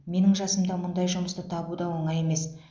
менің жасымда мұндай жұмысты табу да оңай емес